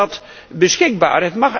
Komt dat beschikbaar?